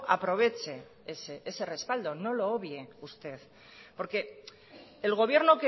aproveche ese respaldo no lo obvie usted porque el gobierno